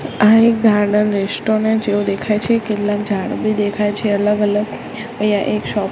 આ એક garden restaurant જેવુ દેખાય છે કેટલાક ઝાડ બી દેખાય છે અલગ અલગ અહિયા એક શોપ --